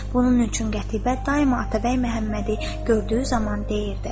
Bunun üçün Qətibə daima Atabəy Məhəmmədi gördüyü zaman deyirdi: